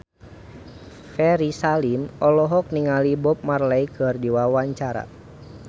Ferry Salim olohok ningali Bob Marley keur diwawancara